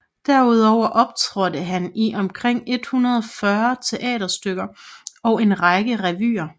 Derudover optrådte han i omkring 140 teaterstykker og en række revyer